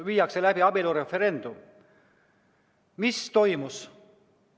Mis toimus?